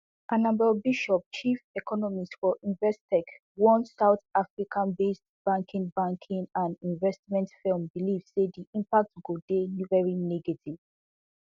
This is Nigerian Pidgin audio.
annabel bishop chief economist for investec one south africabased banking banking and investment firm believe say di impact go dey very negative